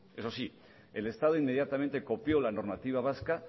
eso sí el estado inmediatamente copió la normativa vasca